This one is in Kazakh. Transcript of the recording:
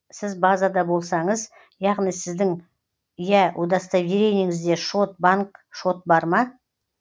сіз базада болсаңыз яғни сіздің иә удостоверениеңізде шот банк шот бар ма